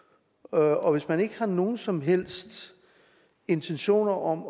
og og hvis man ikke har nogen som helst intentioner om